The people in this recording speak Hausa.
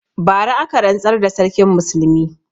Bara aka rantsar da Sarkin Musulmi.